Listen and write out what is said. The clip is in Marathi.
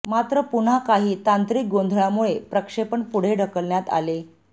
मात्र पुन्हा काही तांत्रिक गोंधळामुळे प्रक्षेपण पुढे ढकलण्यात आले